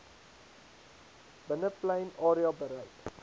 binneplein area bereik